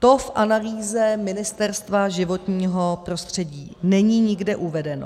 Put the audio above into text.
To v analýze Ministerstva životního prostředí není nikde uvedeno.